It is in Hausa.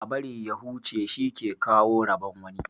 Ã bari ya huche shi ke kawo rabon wani.